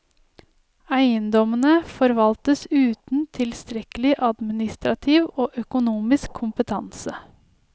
Eiendommene forvaltes uten tilstrekkelig administrativ og økonomisk kompetanse.